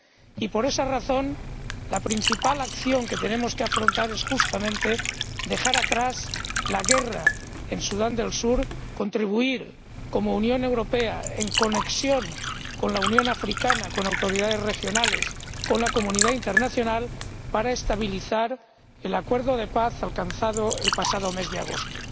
Y por esa razón, la principal acción que tenemos que afrontar es justamente dejar atrás la guerra en Sudán del Sur, contribuir como Unión Europea, en conexión con la Unión Africana, con autoridades regionales, con la comunidad internacional, para estabilizar el acuerdo de paz alcanzado el pasado mes de agosto.